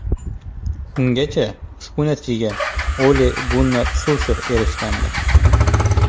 Ungacha ushbu natijaga Ole-Gunnar Sulsher erishgandi.